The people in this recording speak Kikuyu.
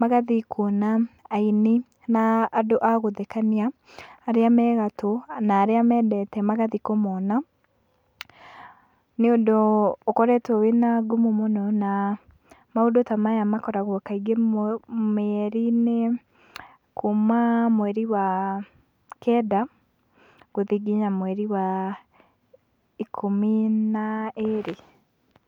magathiĩ kuona aini na andũ agũthekania aria me gatũ na aria mendete magathiĩ kũmona , ni ũndũ ũkoretwo na ngumo mũno na maũndũ ta maya makoragwo kaingĩ mieri-ini kuuma mweri wa kenda gũthii nginya mweri wa ikũmi na ĩrĩ.